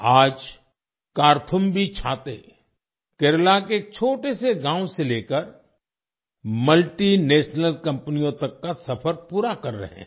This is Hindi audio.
आज कार्थुम्बी छाते केरला के एक छोटे से गाँव से लेकर मल्टीनेशनल कंपनियों तक का सफर पूरा कर रहे हैं